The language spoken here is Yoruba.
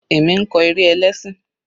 Èmi ń kọ eré ẹlẹ́ṣìn.